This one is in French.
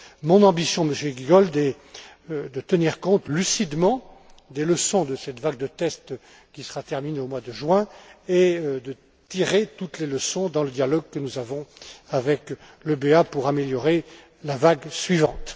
Mon ambition, Monsieur Giegold, est de tenir compte lucidement des leçons de cette vague de tests qui sera terminée au mois de juin et de tirer toutes les leçons dans le dialogue que nous avons avec l'EBA pour améliorer la vague suivante.